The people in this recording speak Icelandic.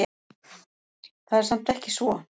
Það er samt ekki svo.